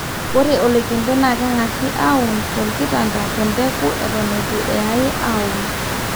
ore oloikembe naa kegasi aaun te olkitanda le mbeku eton eitu eyai auun